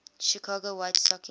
chicago white stockings